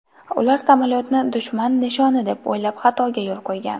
Ular samolyotni dushman nishoni deb o‘ylab xatoga yo‘l qo‘ygan.